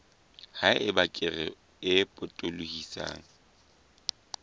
ha eba kere e potolohisang